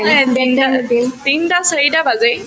হয় তিনটা চাৰিটা বাজেই